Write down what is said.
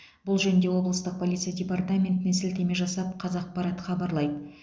бұл жөнінде облыстық полиция департаментіне сілтеме жасап қазақпарат хабарлайды